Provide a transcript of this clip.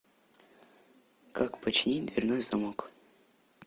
как починить дверной замок